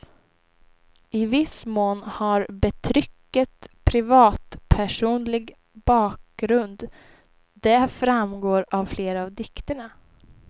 I viss mån har betrycket privatpersonlig bakgrund, det framgår av flera av dikterna.